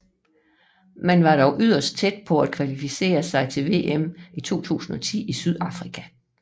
Man var dog yderst tæt på at kvalificere sig til VM i 2010 i Sydafrika